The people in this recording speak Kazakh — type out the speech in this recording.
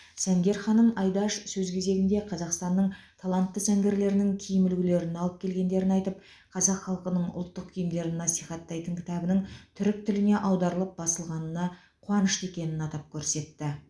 сәнгер ханым айдаш сөз кезегінде қазақстанның талантты сәнгерлерінің киім үлгілерін алып келгендерін айтып қазақ халқының ұлттық киімдерін насихаттайтын кітабының түрік тіліне аударылып басылғанына қуанышты екенін атап көрсетті